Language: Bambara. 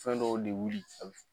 Fɛn dɔw de